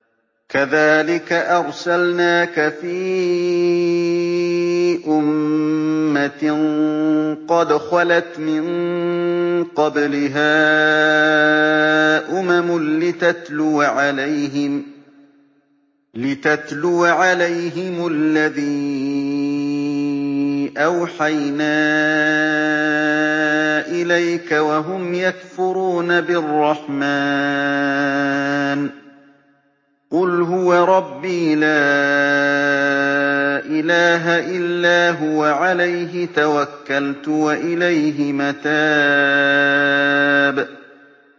كَذَٰلِكَ أَرْسَلْنَاكَ فِي أُمَّةٍ قَدْ خَلَتْ مِن قَبْلِهَا أُمَمٌ لِّتَتْلُوَ عَلَيْهِمُ الَّذِي أَوْحَيْنَا إِلَيْكَ وَهُمْ يَكْفُرُونَ بِالرَّحْمَٰنِ ۚ قُلْ هُوَ رَبِّي لَا إِلَٰهَ إِلَّا هُوَ عَلَيْهِ تَوَكَّلْتُ وَإِلَيْهِ مَتَابِ